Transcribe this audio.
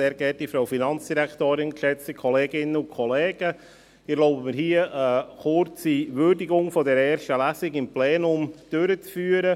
Ich erlaube mir, hier eine kurze Würdigung der ersten Lesung im Plenum durchzuführen.